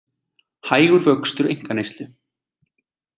Hægur vöxtur einkaneyslu